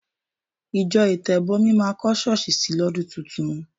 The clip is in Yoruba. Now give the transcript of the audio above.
Ìjọ Ìtẹ̀bọmi máa kọ́ ṣọ́ọ̀ṣì sì lọ́dún tuntun.